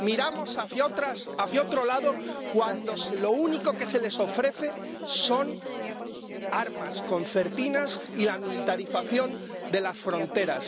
miramos hacia otro lado cuando lo único que se les ofrece son armas, concertinas y la militarización de las fronteras.